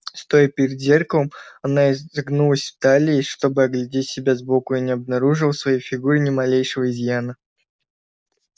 стоя перед зеркалом она изогнулась в талии чтобы оглядеть себя сбоку и не обнаружила в своей фигуре ни малейшего изъяна